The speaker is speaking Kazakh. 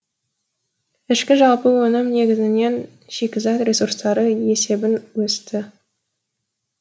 ішкі жалпы өнім негізінен шикізат ресурстары есебін өсті